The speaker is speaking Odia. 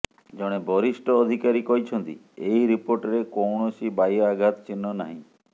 ଜଣେ ବରିଷ୍ଠ ଅଧିକାରୀ କହିଛନ୍ତି ଏହି ରିପୋର୍ଟରେ କୌଣସି ବାହ୍ୟ ଆଘାତ ଚିହ୍ନ ନାହିଁ